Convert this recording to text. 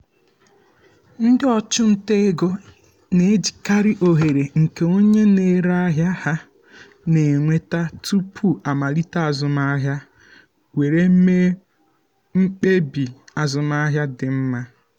ndị ọchụnta ego na-ejikarị ohere nke onye na-ere ahịa ha na-enweta tupu amalite azụmaahịa were mee mkpebi azụmaahịa dị mma.